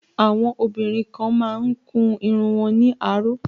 Àwọn obìnrin kan má ń kun irun wọn ní aró